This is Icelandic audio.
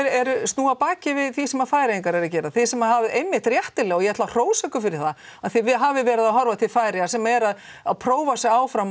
snúi baki við því sem Færeyingar eru að gera þið sem hafið einmitt réttilega og ég ætla að hrósa ykkur fyrir það að þið hafið verið að horfa til Færeyja sem er að að prófa sig áfram